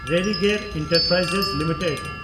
Religare enterprises limited